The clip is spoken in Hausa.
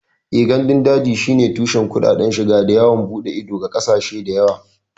Eh, gandun daji shine tushen kuɗaɗen shiga da yawon bude ido ga ƙasashe da yawa